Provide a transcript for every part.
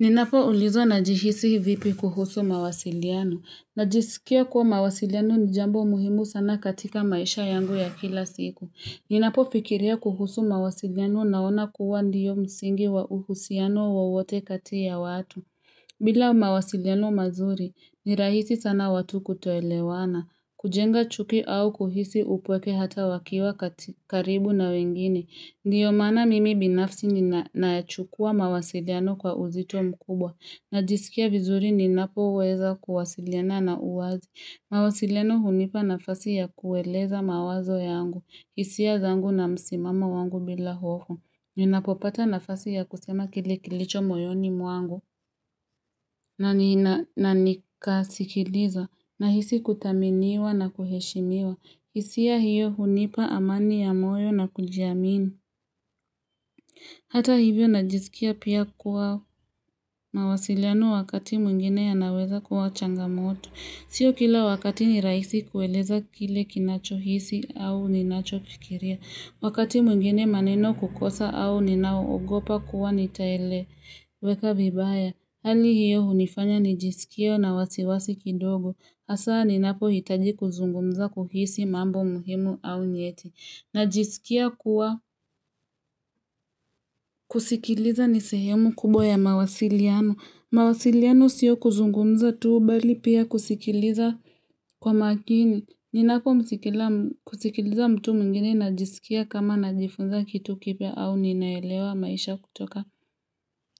Ninapo ulizwa najihisi vipi kuhusu mawasiliano. Najisikia kuwa mawasiliano nijambo muhimu sana katika maisha yangu ya kila siku. Ninapofikiria kuhusu mawasiliano naona kuwa ndio msingi wa uhusiano wowote kati ya watu. Bila mawasiliano mazuri, ni rahisi sana watu kutoelewana. Kujenga chuki au kuhisi upweke hata wakiwa karibu na wengine. Ndiyo maana mimi binafsi ninyaachukua mawasiliano kwa uzito mkubwa. Najisikia vizuri ninapo weza kuwasiliana na uwazi. Mawasiliano hunipa nafasi ya kueleza mawazo yangu. Hisia zangu na msimamo wangu bila hoho. Ninapopata nafasi ya kusema kile ikilicho moyoni mwangu. Na nika sikiliza na hisi kuthaminiwa na kuheshiniwa. Hisia hiyo hunipa amani ya moyo na kujiamini. Hata hivyo na jiskia pia kuwa mawasiliano wakati mwingine yanaweza kuwa changamoto. Sio kila wakati ni rahisi kueleza kile kinacho hisi au ninacho kifikiria. Wakati mwingine maneno kukosa au ninaogopa kuwa nitaeleweka vibaya. Hali hiyo hunifanya nijisikia na wasiwasi kidogo. Hasa ninapo hitaji kuzungumza kuhusu mambo muhimu au nyeti. Najisikia kuwa kusikiliza nisehemu kubwa ya mawasiliano. Mawasiliano siyo kuzungumza tuu bali pia kusikiliza kwa makini. Ninako kusikiliza mtu mwinginei najisikia kama najifunza kitu kipya au ninaelewa maisha kutoka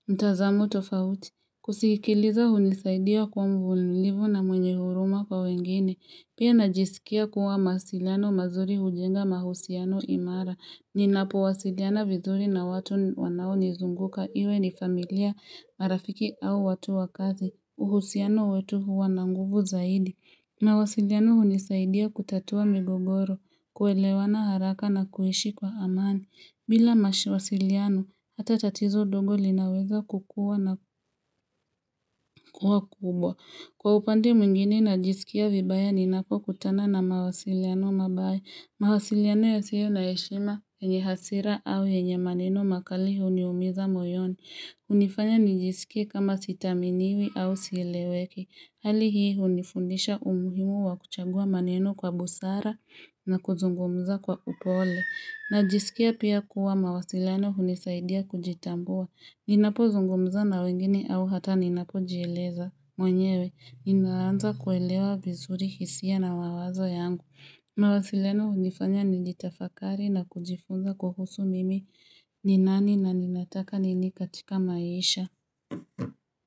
mtazamo tofauti. Kusikiliza hunisaidia kwa mvulivu na mwenye huruma kwa wengine. Pia najisikia kuwa mawasiliano mazuri hujenga mahusiano imara. Ninapo wasiliana vizuri na watu wanao nizunguka. Iwe ni familia marafiki au watu wakazi. Uhusiano wetu huwa na nguvu zaidi. Mawasiliano hunisaidia kutatua migogoro, kuelewana haraka na kuishi kwa amani. Bila mawasiliano, hata tatizo dogo linaweza kukuwa na kuwa kubwa. Kwa upande mwingine najisikia vibaya ninako kutana na mawasiliano mabaya. Mawasiliano yasiyo naheshima yenye hasira au yenye ye maneno makali huniumiza moyoni. Hunifanya nijisikia kama sithaminiwi au sieleweki. Hali hii hunifundisha umuhimu wa kuchagua maneno kwa busara na kuzungumza kwa upole. Najisikia pia kuwa mawasiliano hunisaidia kujitambua. Ninapo zungumza na wengine au hata ninapo jieleza. Mwenyewe, inaanza kuelewa vizuri hisia na mawazo yangu. Mawasileno hunifanya nilitafakari na kujifunza kuhusu mimi ninani na ninataka nini katika maisha.